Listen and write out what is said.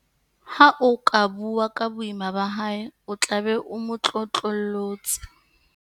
Ha o ka bua ka boima ba hae o tla be o mo tlotlollotse.